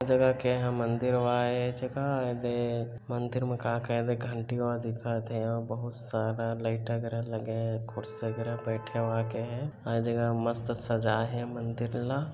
ए जगह के एदे मंदिर वाय ए ए जगह के मंदिर मे एदे का-का घंटीवा दिखा थे अऊ बहुत सारा लाइट वागेरा लगे हे खुर्शी वागेरा बैठवा का ए जगह मस्त सजाए हे मंदिर ल--